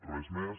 res més